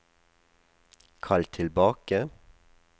kall tilbake